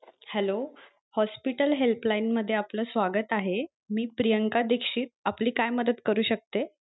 Hello hospital help line मध्ये आपल स्वागत आहे मी प्रियांका दिक्षित आपली काय मदत करू शकते?